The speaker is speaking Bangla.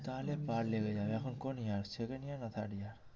তাহলে এখন কোন year second year না third year